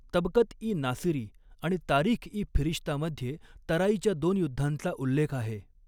तबकत इ नासिरी आणि तारिख इ फिरिश्तामध्ये तराईच्या दोन युद्धांचा उल्लेख आहे.